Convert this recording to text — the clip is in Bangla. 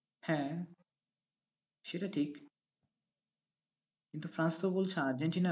হ্যাঁ, সেটা ঠিক, কিন্তু ফ্রান্স তো বলছে আর্জেন্টিনা